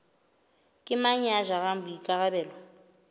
ke mang ya jarang boikarabelo